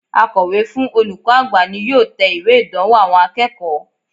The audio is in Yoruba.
Akòwé fún olùkó àgbà ni yóò te ìwé ìdánwò àwon akéèkó